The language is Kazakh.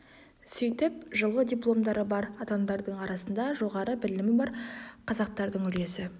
сөйтіп жылы дипломдары бар адамдардың арасында жоғары білімі бар қазақтардың үлесі